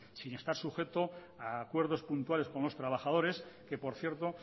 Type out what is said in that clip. sin estar sujeto a acuerdos puntuales con los trabajadores que por cierto